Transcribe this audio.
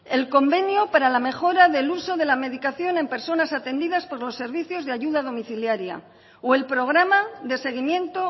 el convenio para la mejora del uso de la medicación en personas atendidas por los servicios de ayuda domiciliara o el programa de seguimiento